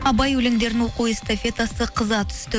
абай өлеңдерінің оқу эстафетасы қыза түсті